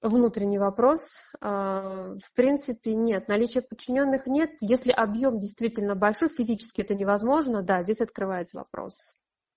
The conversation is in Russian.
внутренний вопрос в принципе нет наличие подчинённых нет если объем действительно большой физически это невозможно да здесь открывается вопрос